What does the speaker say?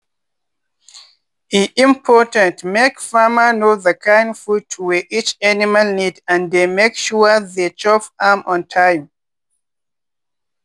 e important make farmer know the kind food wey each animal need and dey make sure the chop am on time.